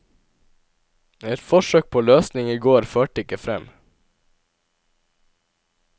Et forsøk på løsning i går førte ikke frem.